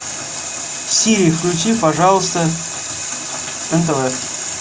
сири включи пожалуйста нтв